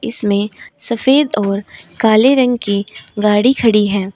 इसमें सफेद और काले रंग की गाड़ी खड़ी है।